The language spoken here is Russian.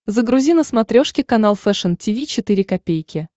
загрузи на смотрешке канал фэшн ти ви четыре ка